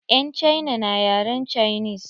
Yan cina na yaren cinis.